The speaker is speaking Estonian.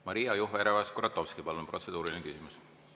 Maria Jufereva-Skuratovski, palun, protseduuriline küsimus!